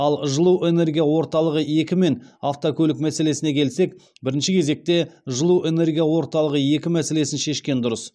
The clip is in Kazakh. ал жылу энергия орталығы екі мен автокөлік мәселесіне келсек бірінші кезекте жылу энергия орталығы екі мәселесін шешкен дұрыс